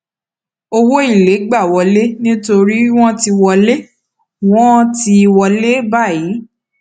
owó èlé gba wọlé nítorí wọn ti wọlé wọn ti wọlé báyìí